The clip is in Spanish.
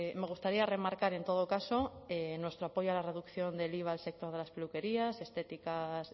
me gustaría remarcar en todo caso nuestro apoyo a la reducción del iva al sector de las peluquerías estéticas